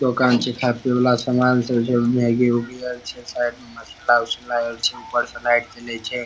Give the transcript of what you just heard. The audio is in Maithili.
दोकान छै खाए पिए वाला सामान सब छै मैग्गी उगी आर छै साइड में मसला उसला आर छै ऊपर से लाइट जले छै ।